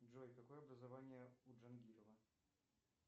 джой какое образование у джангирова